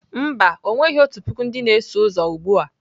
Mba, o nweghi otu puku ndị na-eso ụzọ ugbu a.